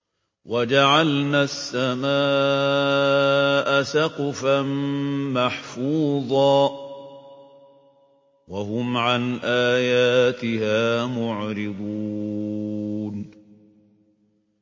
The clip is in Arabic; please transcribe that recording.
وَجَعَلْنَا السَّمَاءَ سَقْفًا مَّحْفُوظًا ۖ وَهُمْ عَنْ آيَاتِهَا مُعْرِضُونَ